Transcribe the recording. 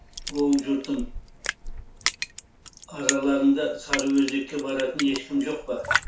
оу жұртым араларыңда сарыөзекке баратын ешкім жоқ па